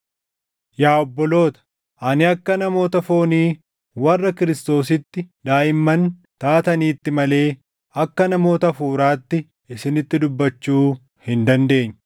Yaa obboloota, ani akka namoota foonii warra Kiristoositti daaʼimman taataniitti malee akka namoota Hafuuraatti isinitti dubbachuu hin dandeenye.